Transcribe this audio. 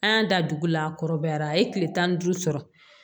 An y'a da dugu la a kɔrɔbayara a ye kile tan ni duuru sɔrɔ